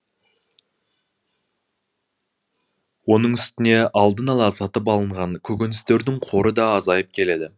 оның үстіне алдын ала сатып алынған көкөністердің қоры да азайып келеді